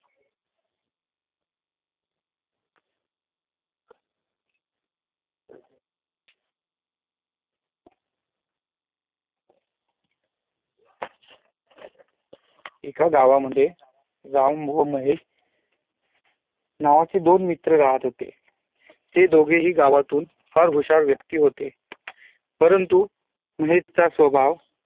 एका गावा मध्ये राम व महेश नावाचे दोन मित्र राहत होते ते दोघेही गावातून फार हुशार व्यक्ती होते परंतू महेश चा स्वभाव